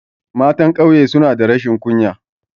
Matan ƙauye suna da rashin kunya